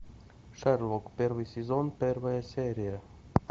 шерлок первый сезон первая серия